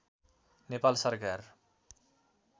नेपाल सरकार